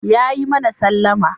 Yayi mana sallama.